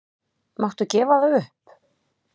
Máttu gefa það upp?